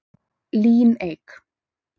Líneik